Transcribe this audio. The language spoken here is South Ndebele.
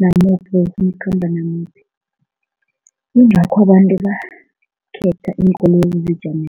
namuphi, awufuni ukukhamba namuphi, yngakho abantu bakhetha iinkoloyi